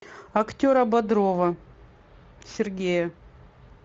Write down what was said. актера бодрова сергея